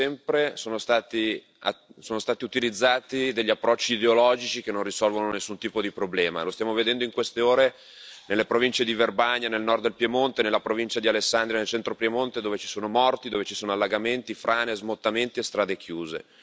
Come sempre sono stati utilizzati degli approcci ideologici che non risolvono nessun tipo di problema. Lo stiamo vedendo in queste ore nelle province di Verbania nel nord del Piemonte, nella provincia di Alessandria nel centro del Piemonte, dove ci sono morti, dove ci sono allagamenti, frane, smottamenti e strade chiuse.